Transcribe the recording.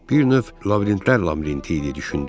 Bir növ labirintlər labirinti idi düşündüm.